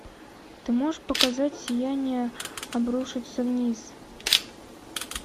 ты можешь показать сияние обрушится вниз